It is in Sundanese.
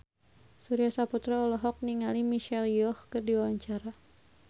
Surya Saputra olohok ningali Michelle Yeoh keur diwawancara